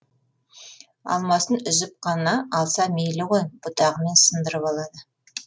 алмасын үзіп қана алса мейлі ғой бұтағымен сындырып алады